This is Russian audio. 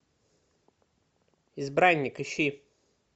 избранник ищи